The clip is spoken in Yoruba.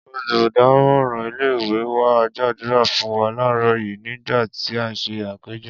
Olùdámò̩ràn ilé ìwé wa gbàdúrà fún wa láàáró̩ yìí nígbà tí a ń s̩e àpéjo̩